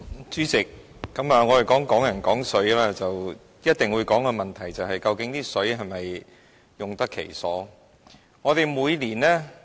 主席，我們談"港人港水"，一定會討論的問題是，究竟那些食水是否用得其所？